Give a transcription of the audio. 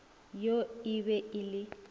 yo e be e le